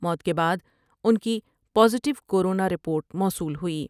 موت کے بعد ان کی پازیٹیو کورونا رپورٹ موصول ہوئی ۔